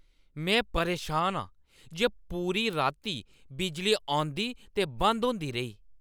में परेशान आं जे पूरी राती बिजली औंदी ते बंद होंदी रेही ।